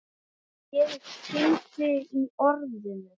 Ég finn þig í orðinu.